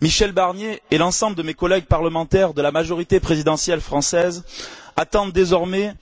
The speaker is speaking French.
Michel Barnier et l'ensemble de mes collègues parlementaires de la majorité présidentielle française attendent désormais